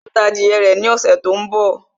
Yóò ta adìyẹ rẹ̀ ní ọ̀ṣẹ̀ tó ń bọ̀